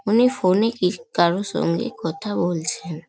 উনি ফোন -এ কিস কারও সঙ্গে কথা বলছেন।